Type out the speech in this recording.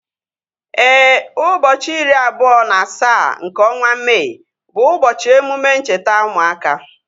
Éè, ụbọchị iri abụọ na asaa nke ọnwa Mee bu ubochi emume ncheta ụmụaka